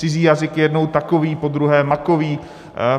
Cizí jazyk je jednou takový, podruhé makový.